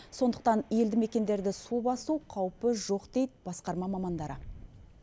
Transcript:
сондықтан елді мекендерді су басу қаупі жоқ дейді басқарма мамандары